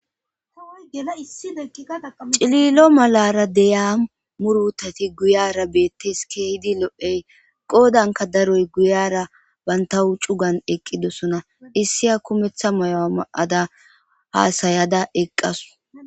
Cililo malara deyiya murutati guyara bettes kehidi lo'iyay qoddan daroy bantaw guyara bantaw cuugan eqqidosona issiya kumetha mayuwa ma'ada hasayada eqqasu.